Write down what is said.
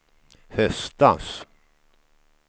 höstas